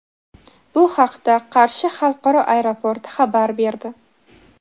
Bu haqda Qarshi xalqaro aeroporti xabar berdi.